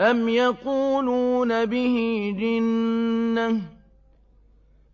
أَمْ يَقُولُونَ بِهِ جِنَّةٌ ۚ